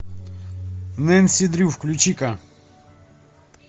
нэнси дрю включи ка